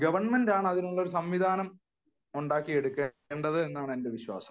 government ആണ് അതിനു ഒരു സംവിധാനം ഉണ്ടാക്കി എടുക്കേണ്ടത് എന്നാണെന്റെ വിശ്വാസം